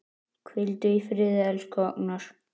Hvíldu í friði, elsku Agnar.